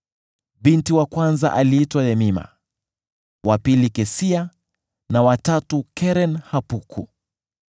Binti wa kwanza aliitwa Yemima, wa pili Kesia na wa tatu Keren-Hapuki.